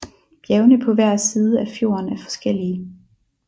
Bjergene på hver side af fjorden er forskellige